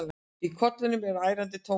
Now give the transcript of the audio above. Í kollinum er ærandi tómahljóð.